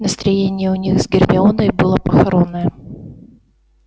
настроение у них с гермионой было похоронное